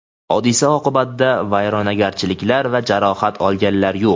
Hodisa oqibtida vayronagarchiliklar va jarohat olganlar yo‘q.